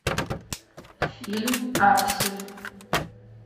фильм аксель